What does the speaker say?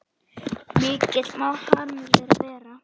Mikill má harmur þeirra vera.